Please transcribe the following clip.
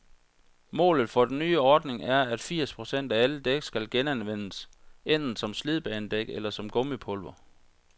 Målet for den nye ordning er, at firs procent af alle dæk skal genanvendes, enten som slidbanedæk eller som gummipulver.